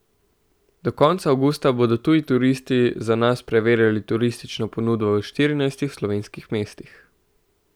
Do konca avgusta bodo tuji turisti za nas preverjali turistično ponudbo v štirinajstih slovenskih mestih.